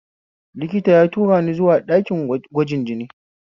Likita ya turani zuwa ɗakin gwajin jini